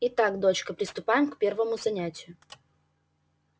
итак дочка приступаем к первому занятию